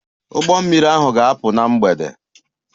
Ụgbọ mmiri ahụ ga-apụ na mgbede.